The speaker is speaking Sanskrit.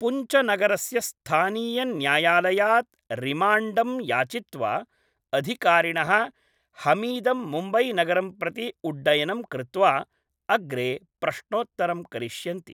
पुञ्चनगरस्य स्थानीयन्यायालयात् रिमाण्डं याचित्वा अधिकारिणः हमीदं मुम्बईनगरं प्रति उड्डयनं कृत्वा अग्रे प्रश्नोत्तरं करिष्यन्ति।